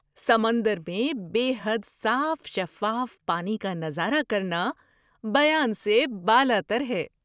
سمندر میں بے حد صاف شفاف پانی کا نظارہ کرنا بیان سے بالاتر ہے!